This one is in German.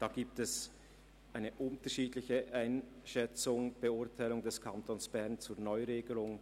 Hier gibt es eine abweichende Beurteilung der Neuregelung.